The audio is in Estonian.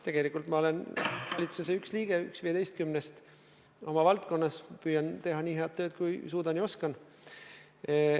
Tegelikult ma olen valitsuse üks liige, üks 15-st, oma valdkonnas püüan teha nii head tööd, kui suudan ja oskan.